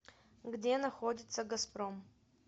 где находится газпром